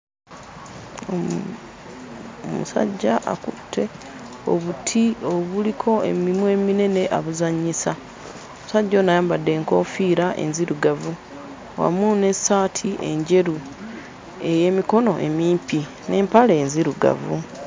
Omu omusajja akutte obuti obuliko emimwa eminene abuzannyisa. Omusajja ono ayambadde enkoofiira enzirugavu wamu n'essaati enjeru ey'emikono emimpi n'empale enzirugavu.